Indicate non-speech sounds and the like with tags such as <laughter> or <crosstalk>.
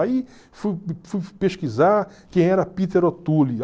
Aí fui <unintelligible> pesquisar quem era Peter O'Toole.